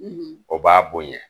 O b'a bonya.